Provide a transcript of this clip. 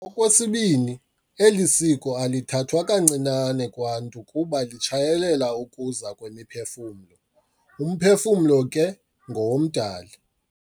Okwesibini, eli siko alithathwa kancinane kwaNtu kuba litshayelela ukuza kwemiphefumlo. Umphefumlo ke ngowomDali.